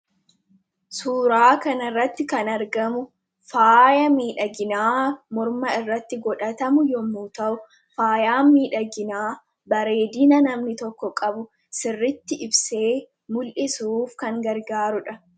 Suuraa kana irratti kan argamu faaya miidhaginaa morma irratti godhatamu yommuu ta'u, faayaan miidhaginaa bareedina namni tokko qabu sirriitti ibsee mul'isuuf kan gargaaruudha.